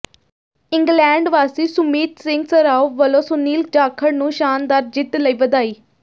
England ਵਾਸੀ ਸੁਮੀਤ ਸਿੰਘ ਸਰਾਓ ਵਲੋਂ ਸੁਨੀਲ ਜਾਖੜ ਨੂੰ ਸ਼ਾਨਦਾਰ ਜਿੱਤ ਲਈ ਵਧਾਈ